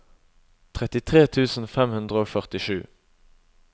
trettitre tusen fem hundre og førtisju